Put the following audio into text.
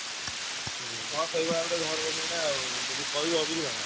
ହଁ ସେଇଭଳିଆ ଗୋଟେ